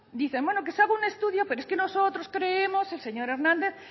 dicen bueno que se haga un estudio pero es que nosotros creemos señor hernández